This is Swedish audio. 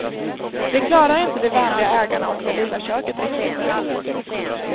Det klarar inte de vänliga ägarna och det lilla köket riktigt.